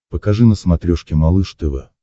покажи на смотрешке малыш тв